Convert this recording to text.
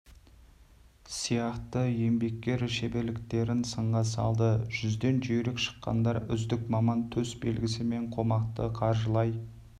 сияқты еңбеккер шеберліктерін сынға салды жүзден жүйрік шыққандар үздік маман төс белгісі мен қомақты қаржылай